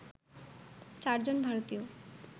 চারজন ভারতীয়